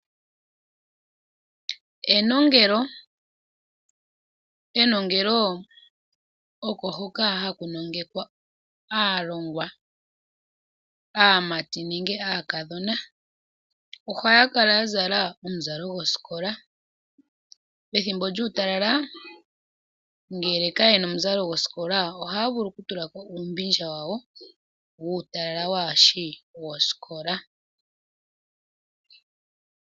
Enongelo, enongelo oko hoka haku nongekwa aalongwa aamati nenge aakadhona. Ohaya kala ya zala omuzalo gwosikola, pethimbo lyuutalala ngele ka yena omuzalo gwosikola ohaya vulu oku tulako uumbindja wawo wuutalala waashi wosikola.